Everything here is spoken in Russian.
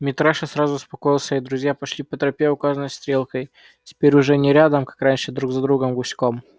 митраша сразу успокоился и друзья пошли по тропе указанной стрелкой теперь уже не рядом как раньше а друг за другом гуськом